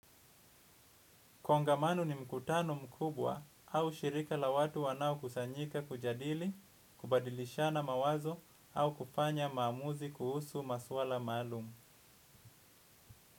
Kongamano ni mkutano mkubwa au shirika la watu wanaokusanyika kujadili, kubadilishana mawazo au kufanya maamuzi kuhusu maswala maalum.